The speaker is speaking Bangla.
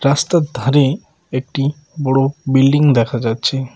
রাস্তার ধারে একটি বড় বিল্ডিং দেখা যাচ্ছে।